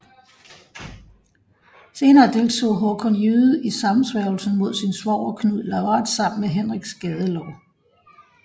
Senere deltog Hakon Jyde i sammensværgelsen mod sin svoger Knud Lavard sammen med Henrik Skadelår